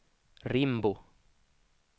Rimbo